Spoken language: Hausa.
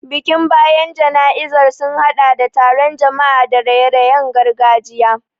Bikin bayan jana'izar sun hadɗa da taron jama'a da raye-rayen gargajiya.